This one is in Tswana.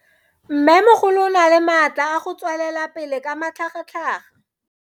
Mmemogolo o na le matla a go tswelela pele ka matlhagatlhaga.